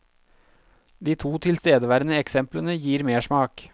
De to tilstedeværende eksemplene gir mersmak.